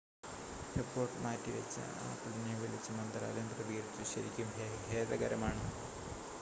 "Report മാറ്റിവച്ച ആപ്പിളിനെ വിളിച്ച് മന്ത്രാലയം പ്രതികരിച്ചു "ശരിക്കും ഖേദകരമാണ്.""